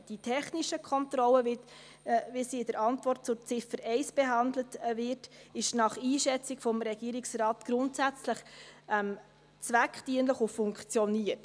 Die technische Kontrolle, wie sie in der Antwort zur Ziffer 1 behandelt wird, ist nach Einschätzung des Regierungsrates grundsätzlich zweckdienlich und funktioniert.